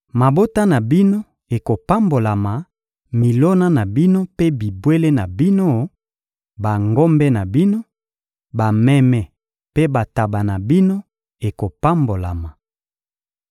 Mabota na bino ekopambolama; milona na bino mpe bibwele na bino: bangombe na bino, bameme mpe bantaba na bino ekopambolama.